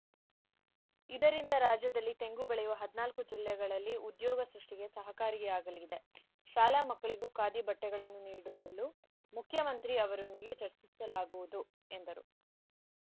ಇದರಿಂದ ರಾಜ್ಯದಲ್ಲಿ ತೆಂಗು ಬೆಳೆಯುವ ಹದಿನಾಲ್ಕು ಜಿಲ್ಲೆಗಳಲ್ಲಿ ಉದ್ಯೋಗ ಸೃಷ್ಟಿಗೆ ಸಹಕಾರಿಯಾಗಲಿದೆ ಶಾಲಾ ಮಕ್ಕಳಿಗೂ ಖಾದಿ ಬಟ್ಟೆಗಳನ್ನು ನೀಡಲು ಮುಖ್ಯಮಂತ್ರಿ ಅವರೊಂದಿಗೆ ಚರ್ಚಿಸಲಾಗುವುದು ಎಂದರು